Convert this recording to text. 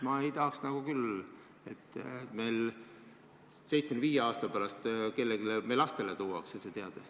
Ma ei tahaks nagu küll, et 75 aasta pärast kellelegi meie lastest tuuakse see teade.